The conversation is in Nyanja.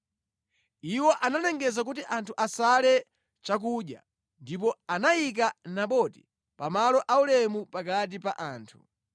Iwo analengeza kuti anthu asale chakudya ndipo anayika Naboti pa malo aulemu pakati pa anthu.